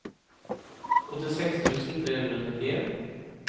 åttiseks tusen tre hundre og nittien